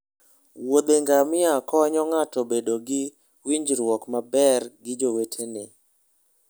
wuothe ngamia konyo ng'ato bedo gi winjruok maber gi jowetene.